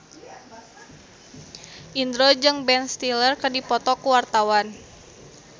Indro jeung Ben Stiller keur dipoto ku wartawan